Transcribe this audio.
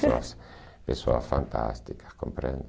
pessoas São pessoas fantásticas, compreende?